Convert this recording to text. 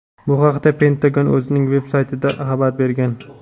Bu haqda Pentagon o‘zining veb-saytida xabar bergan.